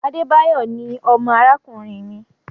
Adebayo ní ọmọ arakunrin mi